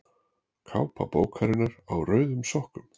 Kápa bókarinnar Á rauðum sokkum.